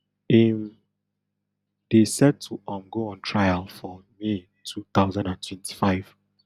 im dey set to um go on trial for may two thousand and twenty-five